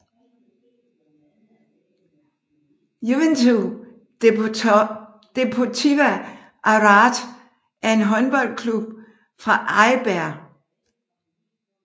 Juventud Deportiva Arrate er en håndboldklub fra Eibar